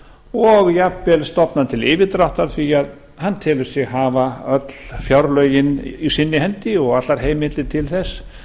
og jafnvel stofnað til yfirdráttar því hann telur sig hafa öll fjárlögin í sinni hendi og allar heimildir til þess